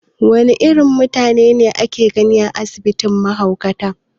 Wane irin mutane ake gani a asibitin mahaukata?